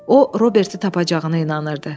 O Roberti tapacağını inanırdı.